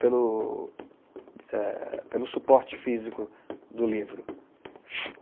pelo, é pelo suporte físico do livro.